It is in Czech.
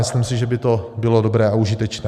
Myslím si, že by to bylo dobré a užitečné.